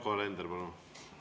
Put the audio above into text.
Yoko Alender, palun!